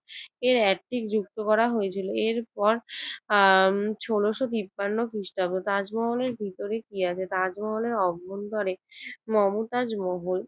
এর এন্টিক যুক্ত করা হয়েছিল। এরপর আহ ষোলশ তিপ্পান্ন খ্রিস্টাব্দ। তাজমহলের ভিতরে কি আছে? তাজমহলের অভ্যন্তরে মমতাজ মহল